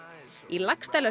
í